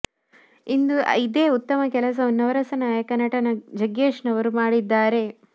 ಇಂದು ಇದೇ ಉತ್ತಮ ಕೆಲಸವನ್ನು ನವರಸ ನಾಯಕ ನಟ ಜಗ್ಗೇಶ್ ರವರು ಮಾಡಿದ್ದಾರೆ